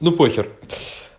ну похер